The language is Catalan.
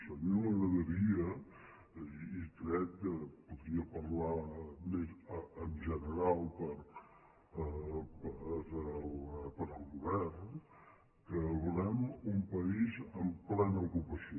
a mi m’agradaria i crec que podria parlar en general per al govern que volem un país amb plena ocupació